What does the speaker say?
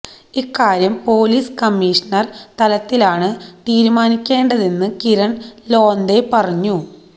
ഇക്കാര്യം police commissioner തലത്തിലാണ് തീരുമാനിക്കേണ്ടതെന്ന് കിരണ് ലോന്തെ പറഞ്ഞു